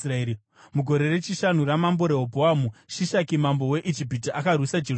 Mugore rechishanu raMambo Rehobhoamu, Shishaki, mambo weIjipiti, akarwisa Jerusarema.